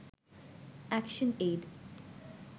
action aid